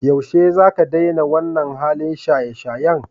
Yaushe zaka daina wannan halin shayeshayen?